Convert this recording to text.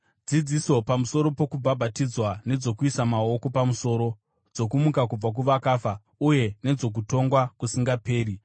dzidziso pamusoro pokubhabhatidzwa nedzokuisa maoko pamusoro, dzokumuka kubva kuvakafa, uye nedzokutongwa kusingaperi.